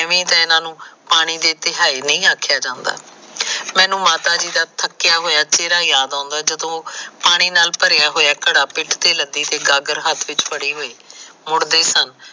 ਐਵੇ ਤਾਂ ਇਹਨਾਂ ਨੂੰ ਪਾਣੀ ਦੇ ਤਿਹਾਏ ਨਈ ਆਖਿਆ ਜਾਦਾ ਮੈਨੂੰ ਮਾਤਾ ਜੀ ਦਾ ਥੱਕਿਆ ਹੋਇਆ ਚਿਹਰਾ ਜਾਂਦ ਆਉਂਦਾ ਜਦੋਂ ਉਹ ਪਾਣੀ ਦਾ ਘੜਾ ਪਿੱਠ ਤੇ ਲੱਦੀ ਹੋਈ ਕੇ ਗਾਗਰ ਹੱਥ ਚ ਫੜੀ ਹੋਈ ਮੁੜਦੇ ਸਾ